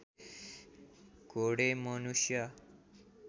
घोडे मनुष्य